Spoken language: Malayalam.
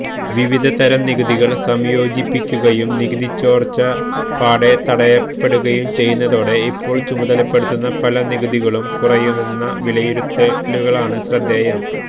വിവിധതരം നികുതികൾ സംയോജിപ്പിക്കുകയും നികുതിച്ചോർച്ച പാടെ തടയപ്പെടുകയും ചെയ്യുന്നതോടെ ഇപ്പോൾ ചുമത്തപ്പെടുന്ന പല നികുതികളും കുറയുമെന്ന വിലയിരുത്തലുകളാണ് ശ്രദ്ധേയം